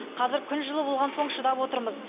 қазір күн жылы болған соң шыдап отырмыз